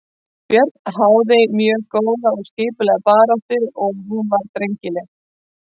Björn háði mjög góða og skipulagða baráttu og hún var drengileg.